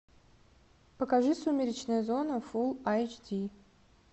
покажи сумеречная зона фулл айч ди